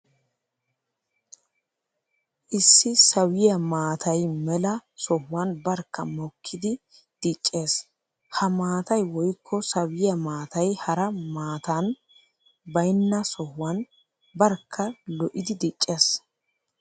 Issi sawiya maatay mela sohuwan barkka mokkiddi diccees. Ha maatay woykko sawiya maatay hara matan baynna sohuwan barkka lo'iddi diccees.